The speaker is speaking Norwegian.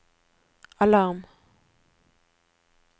alarm